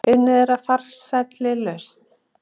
Unnið að farsælli lausn